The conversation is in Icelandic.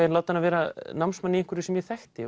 að láta hana vera námsmann í einhverju sem ég þekkti